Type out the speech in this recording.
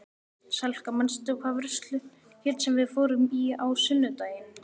Salka, manstu hvað verslunin hét sem við fórum í á sunnudaginn?